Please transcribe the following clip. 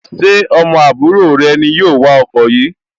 Ṣé ọmọ àbúrò rẹ ni yóò wa ọkọ yìí